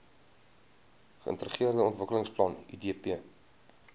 geintegreerde ontwikkelingsplan idp